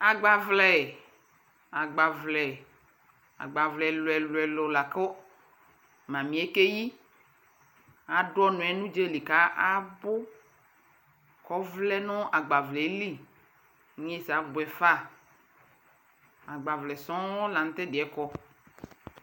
Agbavlɛ, agbavlɛ agbavlɛ ɛlʋɛlʋ la kʋ mami yɛ keyi Adʋ ɔnʋ yɛ nʋ udzalι kabʋ kʋ ɔvlɛ nʋ agbavlɛ yɛ lι Nyeza abuɛfa Agbavlɛ sɔɔŋ la nʋ tɛdi yɛ kɔ